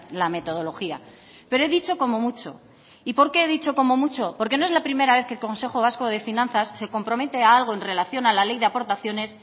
la metodología pero he dicho como mucho y por qué he dicho como mucho porque no es la primera vez que el consejo vasco de finanzas se compromete a algo en relación a la ley de aportaciones